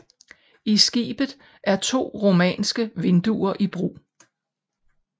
I skibet er to romanske vinduer i brug